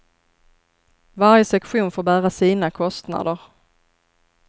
Varje sektion får bära sina kostnader.